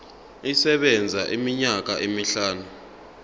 isebenza iminyaka emihlanu